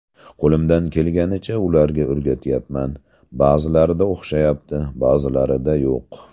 Qo‘limdan kelgancha ularga o‘rgatyapman, ba’zilarida o‘xshayapti, ba’zilarida yo‘q.